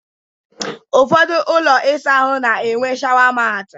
Ụfọdụ ụlọ ịsa ahụ na-enwe shawa maati